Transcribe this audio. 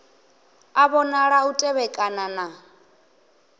a vhonala u tevhekana na